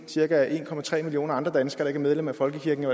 cirka en millioner andre danskere ikke medlem af folkekirken